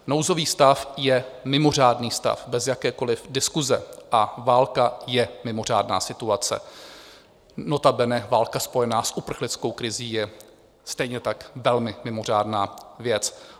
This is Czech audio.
Nouzový stav je mimořádný stav bez jakékoliv diskuse a válka je mimořádná situace, notabene válka spojená s uprchlickou krizí je stejně tak velmi mimořádná věc.